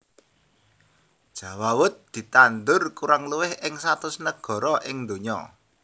Jawawut ditandur kurang luwih ing satus negara ing donya